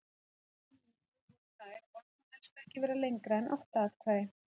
Helstu niðurstöður voru þær að orð má helst ekki vera lengra en átta atkvæði.